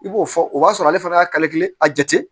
I b'o fɔ o b'a sɔrɔ ale fana y'a a jate